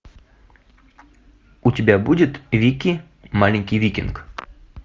у тебя будет вики маленький викинг